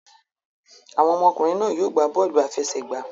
Awọn ọmọkunrin náà yóò gbà bọọlu afẹsẹgba